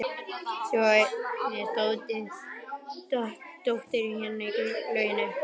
Svo er dóttirin hérna í lauginni.